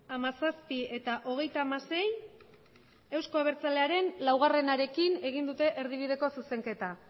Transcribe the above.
hamazazpi eta hogeita hamasei euzko abertzalearen lauarekin egin dute erdibideko zuzenketa